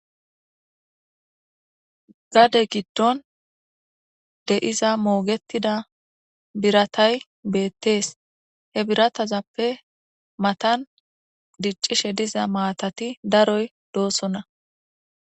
gade giddon deiza moogetida biratay beettees he biratazappe matan diccishe diza maatati daroy doossonna